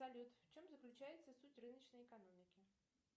салют в чем заключается суть рыночной экономики